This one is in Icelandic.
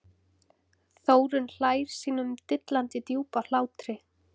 Þórunn hlær sínum dillandi djúpa hlátri.